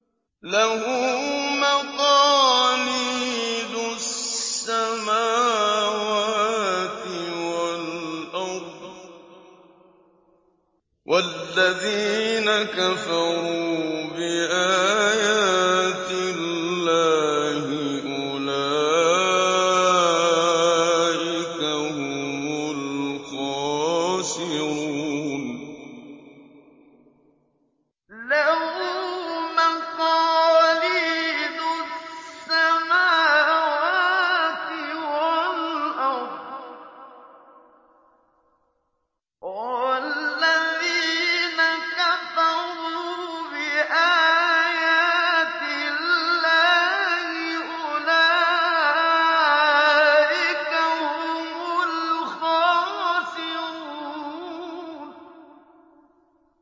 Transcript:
لَّهُ مَقَالِيدُ السَّمَاوَاتِ وَالْأَرْضِ ۗ وَالَّذِينَ كَفَرُوا بِآيَاتِ اللَّهِ أُولَٰئِكَ هُمُ الْخَاسِرُونَ